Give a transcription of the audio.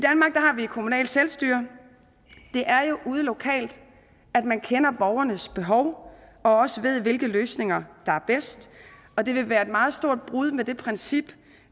kommunalt selvstyre det er jo ude lokalt man kender borgernes behov og også ved hvilke løsninger der er bedst og det vil være et meget stort brud med det princip